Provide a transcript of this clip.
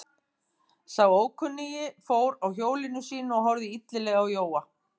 Sá ókunni fór af hjólinu sínu og horfði illilega á Jóa.